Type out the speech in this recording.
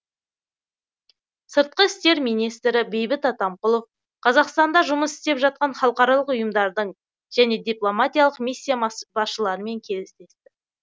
сыртқы істер министрі бейбіт атамқұлов қазақстанда жұмыс істеп жатқан халықаралық ұйымдардың және дипломатиялық миссия басшыларымен кездесті